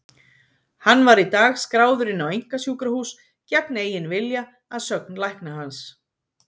Hann var í dag skráður inn á einkasjúkrahús gegn eigin vilja, að sögn lækna hans.